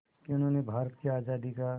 कि उन्हें भारत की आज़ादी का